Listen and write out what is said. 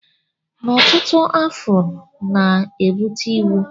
Ntùtù afrọ na e bute igwu.